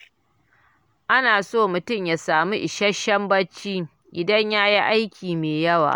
Ana so mutum ya samu isasshen bacci idan ya yi aiki mai yawa